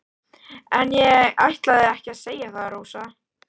En ég ætlaði ekki að segja það, Rósa.